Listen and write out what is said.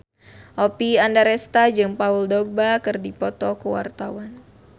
Oppie Andaresta jeung Paul Dogba keur dipoto ku wartawan